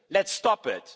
Let's stop